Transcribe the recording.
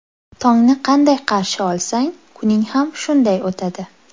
Tongni qanday qarshi olsang, kuning ham shunday o‘tadi.